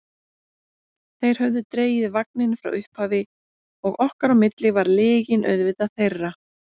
Þeir höfðu dregið vagninn frá upphafi og okkar á milli var lygin auðvitað þeirra.